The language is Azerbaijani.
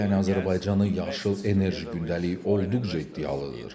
Yəni Azərbaycanın yaşıl enerji gündəliyi olduqca iddialıdır.